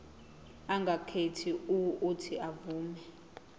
angakhetha uuthi avume